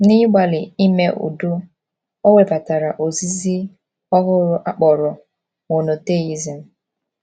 N’ịgbalị ime udo, o webatara ozizi ọhụrụ a kpọrọ Monotheism.